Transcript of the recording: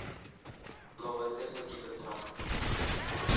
новая тесла кибертрак